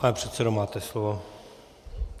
Pane předsedo, máte slovo.